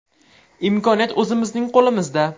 Imkoniyat o‘zimizning qo‘limizda.